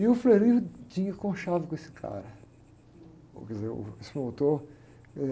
E o tinha conchavo com esse cara. Uh, quer dizer, uh, esse promotor, eh...